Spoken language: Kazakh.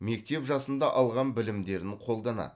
мектеп жасында алған білімдерін қолданады